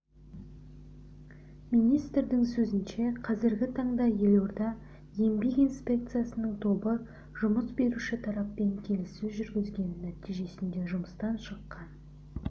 министрдің сөзінше қазіргі таңда елорда еңбек инспекциясының тобы жұмыс беруші тараппен келіссөз жүргізген нәтижесінде жұмыстан шыққан